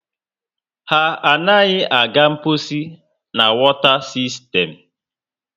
Ha anaghị aga mposi na wota sistern